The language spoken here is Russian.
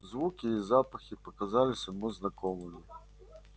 звуки и запахи показались ему знакомыми